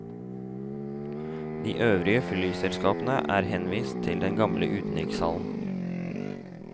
De øvrige flyselskapene er henvist til den gamle utenrikshallen.